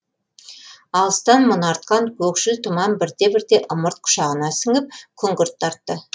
алыстан мұнартқан көшкіл тұман бірте бірте ымырт құшағына сіңіп күңгірт тартты